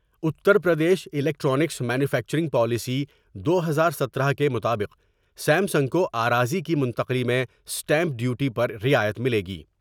Uttar Pradesh electronics manufacturing policy دو ہزار ستارہ کے مطابق سیم سنگ کو آراضی کی منتقلی میں اسٹیمپ ڈیوٹی پر رعایت ملے گی ۔